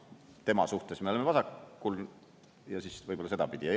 Tema suhtes me oleme vasakul ja siis võib-olla sedapidi.